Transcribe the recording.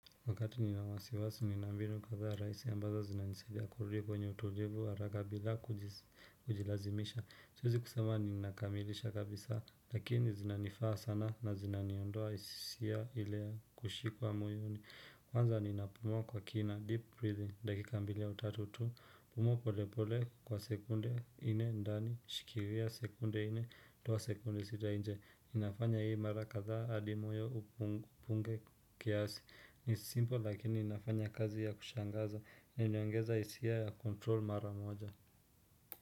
Wakati nina wasiwasi, nina mbinu kadhaa rahisi ambazo zinanisidia kurudia kwenye utulivu, haraka bila kujilazimisha. Siwezi kusema ninakamilisha kabisa, lakini zinanifaa sana na zina niondoa hisisia ile ya kushikwa moyoni. Kwanza ninapumua kwa kina, deep breathing, dakika mbili ya utatu tu, kupumua pole pole kwa sekunde nne ndani, shikilia sekunde nne, toa sekunde sita nje. Inafanya hii mara kadha adi moyo upunge kiasi ni simple lakini inafanya kazi ya kushangaza na inaongeza isia ya control mara moja.